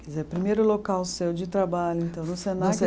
Quer dizer, o primeiro local seu de trabalho, então, no Senac